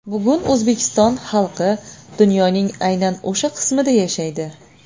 Bugun O‘zbekiston xalqi dunyoning aynan o‘sha qismida yashaydi.